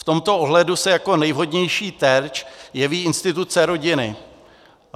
V tomto ohledu se jako nejvhodnější terč jeví instituce rodiny.